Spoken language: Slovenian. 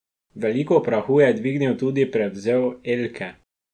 Veliko prahu je dvignil tudi prevzel Elke.